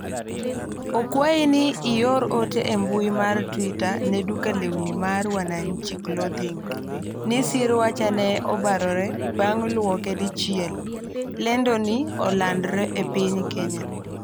akwayi ni ior ote e mbui mar twita ne duka lewni mar wanachi clothing ni siruacha ne obarore bang' luoke dichiel lendoni olandre e piny Kenya